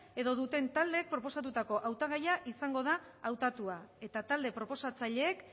edo duten taldeek proposatutako hautagaia izango da hautatua eta talde proposatzaileek